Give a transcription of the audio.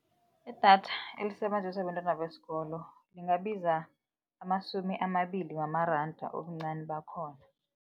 Idatha elisebenziswa abentwana besikolo lingabiza amasumi amabili wamaranda obuncani bakhona.